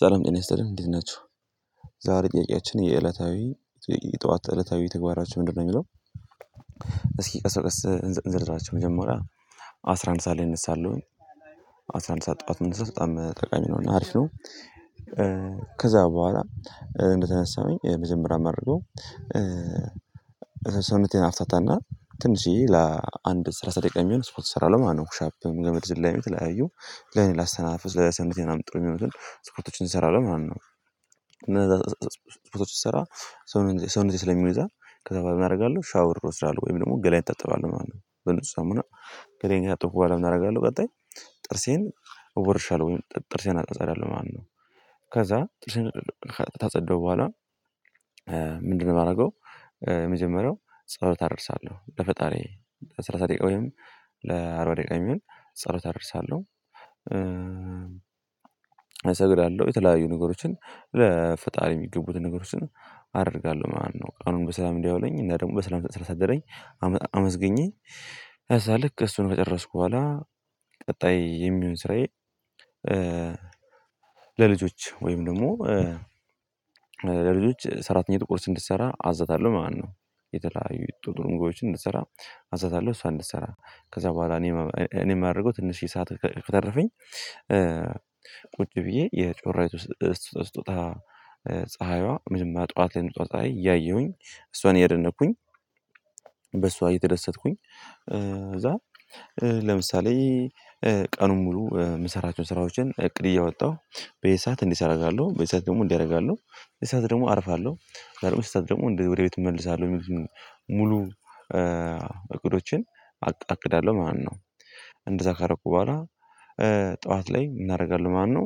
ሰላም ጤና ይስጥልን እንዴት ናችሁ። ዛሬ ጥቄያችን የዕለታዊ የጥዋት እለታዊ ተግባራኝን ምንድነው የሚለው? እስኪ ቀስ ቀስ እንዝርዝራቸው መጀመሪያ አስራ አንድ ሰዓት ላይ እነሳለሁኝ። አስራ አንድ ሰዓት ጥዋት መነሳት በጣም ጠቃሚ ነው። እና አሪፍ ከዛ በኋላ እንደተነሳሁኝ መጀመሪያ ማደርገው። ሰውነቴን አፍታታና ትንሽዬ ለአንድ ሰላሳ ደቂቃ የሚሆን ስፖርት እሰራለሁ ማለት ነው ኩሻፕም ገመድ ዝላይም ተለያዩ ለኔ ላስተነፋፈስ ለሰወነቴ ምንና ምን ጥሩ የሚሆኑትን ስፖርቶችን እሰራለሁኝ ማለት ነው። እነዛ ስፖርት ስሰራ ሰው ነው ሰው ነው ስለሚሉ ይዛ ከዛ በኋላ እናደርጋለን ሻወር ሮስት አለው ወይም ደግሞ ገላይ እጠጥባለሁ ማለት ነው። በንጹህ ሳሙና ገለኛ ጠፉ በኋላ እናደርጋለን። ቀጣይ ጥርሴን እወርሻለሁ ወይም ጥርሴን አጠጣሪ አለው ማነው? ከዛ ጥርሴን ታፀዳው በኋላ ምንድነው ማርገው የመጀመሪያው ጸሎት አደርሳለሁ ለፈጣሪ። ለሰላሳ ደቂቃ ወይም ለአርባ ደቂቃ የሚሆን ጸሎት አደርሳለሁ። ሰገር ያለው የተለያዩ ነገሮችን ለፈጣሪ የሚገቡትን ነገሮችን አደርጋለሁ ማለት ነው። ቀኑን በሰላም እንዲያውለኝ እና ደግሞ በሰላም ስላሳደረኝ አመስግኜ ከዛ ልክ እሱን ከጨረስኩ በኋላ ቀጣይ የሚሆን ስራዬ። ለልጆች ወይም ደግሞ ለልጆች ሰራተኛ ጥቁሮች እንድትሰራ አዛታለሁ ማለት ነው። የተለያዩ ጥሩ ምግቦችን እንድትሰራ አዝዛታለሁ እሷ እንድትሰራ ከዛ በኋላ እኔ እኔ የማደርገው ትንሽዬ ሰዓት ከተረፈኝ። ቁጭ ብዬ የጮራይቱ ስቶታ ፀሀይዋ ጥዋት ላይ የምትወጣው ፀሀይ እያየሁኝ እሷን እያደነኩኝ። በሷ እየተደሰትኩኝ ከዛ ለምሳሌ ቀኑን ሙሉ ምሰራቸውን ስራዎችን እቅድ እያወጣሁ በዚ ሰዓት እንዴት አደርጋለሁ በዚ ሰዓት ደግሞ እንዲያደርጋለሁ? በዚ ሰዓት ደግሞ አርፋለሁ። ከዛ ደግሞ ወደ ቤት እመልሳለሁ ሙሉ አቅዳለሁ ማለት ነው። እንደዛ ካረኩ በኋላ ጠዋት ላይ ምን አደርጋለሁ ማለት ነው?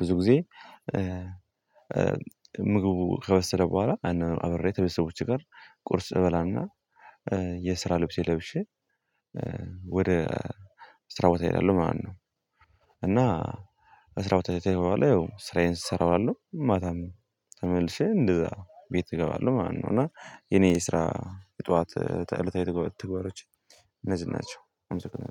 ብዙ ጊዜ ምግቡ ከበሰለ በኋላ አብሬ ከቤተስቦች ጋር ቁርስ እበላና የስራ ልብሴን የለብሽ። ወደ ስራ ቦታ እሄዳለሁ ማለት ነው። እና ስራው ተይ በኋላ ስራዬን ስራ እውላለሁ ማታም ተመልሼ እንደዛ ቤት እገባለሁ ማለት ነው። እና የኔ ስራ የጥዋት እለታዊ ተግባሮች እነዚህ ናቸው። አመሰግናለሁ